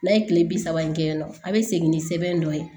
N'a ye kile bi saba in kɛ nɔ a be segin ni sɛbɛn dɔ ye